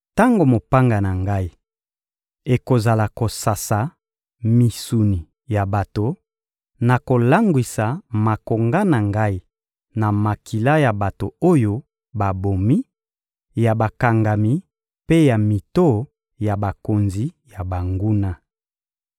Tango mopanga na Ngai ekozala kosasa misuni ya bato, nakolangwisa makonga na Ngai na makila ya bato oyo babomi, ya bakangami mpe ya mito ya bakonzi ya banguna.»